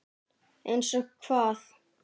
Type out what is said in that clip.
Einsog hvað?